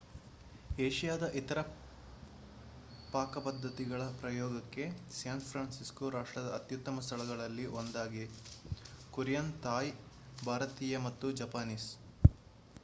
ಏಷ್ಯಾದ ಇತರ ಪಾಕಪದ್ಧತಿಗಳ ಪ್ರಯೋಗಕ್ಕೆ ಸ್ಯಾನ್ ಫ್ರಾನ್ಸಿಸ್ಕೊ ರಾಷ್ಟ್ರದ ಅತ್ಯುತ್ತಮ ಸ್ಥಳಗಳಲ್ಲಿ ಒಂದಾಗಿದೆ ಕೊರಿಯನ್ ಥಾಯ್ ಭಾರತೀಯ ಮತ್ತು ಜಪಾನೀಸ್